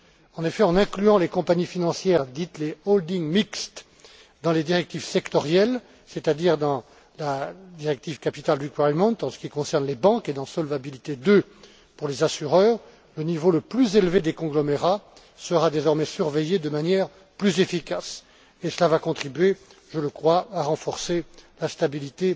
En effet, en incluant les compagnies financières appelées holdings mixtes dans les directives sectorielles, c'est à dire dans la directive capital requirement en ce qui concerne les banques et dans Solvabilité II pour les assureurs, le niveau le plus élevé des conglomérats sera désormais surveillé de manière plus efficace et cela va contribuer, je crois, à renforcer la stabilité